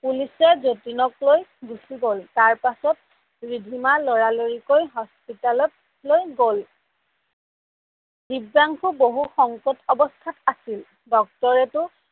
police এ জতিনক লৈ গোছি গল তাৰ পাছত ৰিধিমা লৰা লৰিকৈ হস্পিতাললৈ গ'ল । দিব্যাংসু বহুত সংকটজনক অৱস্থাত আছিল ডক্তৰেটো